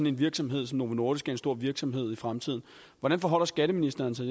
en virksomhed som novo nordisk en stor virksomhed i fremtiden hvordan forholder skatteministeren sig